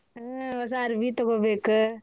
ಹಾ ಹೊಸಾ ಅರ್ಬಿ ತಗೋಬೇಕ.